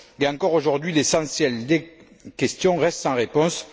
Encore aujourd'hui, l'essentiel des questions reste sans réponse.